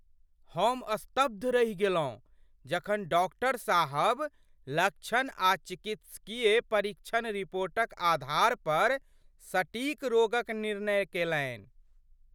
हम स्तब्ध रहि गेलहुँ जखन डॉक्टर साहब, लक्षण आ चिकित्सकीय परीक्षण रिपोर्टक आधार पर सटीक रोग क निर्णय केलनि।